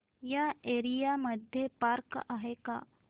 या एरिया मध्ये पार्क आहे का